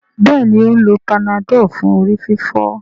Béèni o ń ló Panadol fún orí-fífọ́.